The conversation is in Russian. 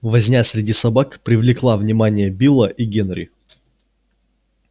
возня среди собак привлекла внимание билла и генри